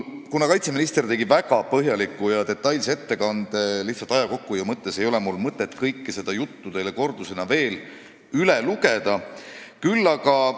Kaitseminister tegi väga põhjaliku ja detailse ettekande ning ka aja kokkuhoiu huvides ei ole mul mõtet kõike seda teile veel kord korrata.